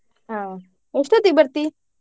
ಹಾ. ಎಷ್ಟೋತ್ತಿಗೆ ಬರ್ತಿ?